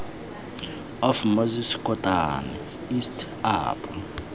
of moses kotane east apo